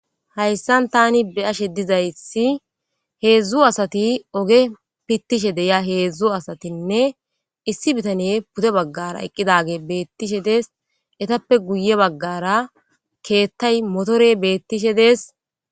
hayssan tani beashe dizaysi heedzdzu asati oge pittishe deya heedzdzu asatinne issi bitane pute baggara eqqidage beettishe dees etappe guye baggara keettay motore beettishe dees